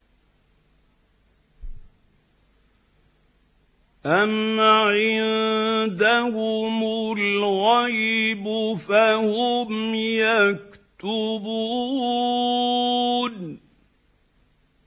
أَمْ عِندَهُمُ الْغَيْبُ فَهُمْ يَكْتُبُونَ